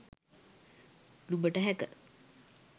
නුඹට හැක.